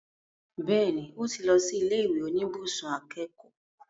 Bẹ́ẹ̀ni, ó ti lọ sí ilé ìwé oníbùsùn akẹ́kọ̀ọ́